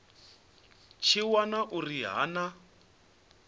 tshi wana uri ha na